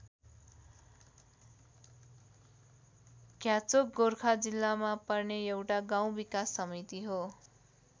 घ्याचोक गोर्खा जिल्लामा पर्ने एउटा गाउँ विकास समिति हो।